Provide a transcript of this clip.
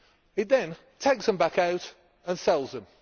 It then takes them back out and sells them.